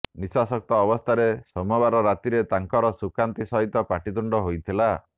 ନିଶାସକ୍ତ ଅବସ୍ଥାରେ ସୋମବାର ରାତିରେ ତାଙ୍କର ସୁକାନ୍ତି ସହିତ ପାଟିତୁଣ୍ଡ ହୋଇଥିଲା